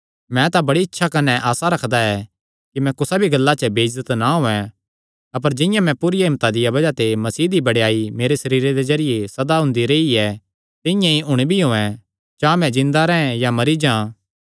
मैं तां बड़ी इच्छा कने आसा रखदा ऐ कि मैं कुसा भी गल्ला च बेइज्जत ना होयैं अपर जिंआं मैं पूरिया हिम्मता दिया बज़ाह ते मसीह दी बड़ेयाई मेरे सरीरे दे जरिये सदा हुंदी रेई ऐ तिंआं ई हुण भी होयैं चां मैं जिन्दा रैंह् या मरी जां